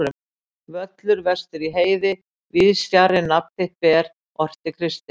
Völlur vestur í heiði, víðs fjarri nafn þitt ber, orti Kristinn.